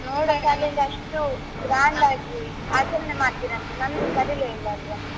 ನೋಡೋಣ ಅಷ್ಟು ಹಾ grand ಆಗಿ ಆಚರಣೆ ಮಾಡ್ತೀರಂತೆ ನನ್ನ ಕರೀಲೆ ಇಲ್ಲ ಅಲ್ವಾ.